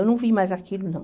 Eu não vi mais aquilo, não.